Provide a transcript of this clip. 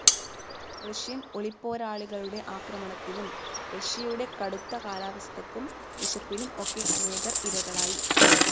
Russian ഒളിപ്പോരാളികളുടെ ആക്രമണത്തിനും റഷ്യയുടെ കടുത്ത കാലാവസ്ഥക്കും വിശപ്പിനും ഒക്കെ അനേകർ ഇരകളായി.